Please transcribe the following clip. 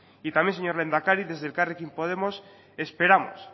y también señor lehendakari desde elkarrekin podemos esperamos